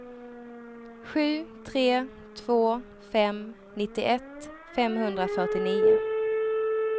sju tre två fem nittioett femhundrafyrtionio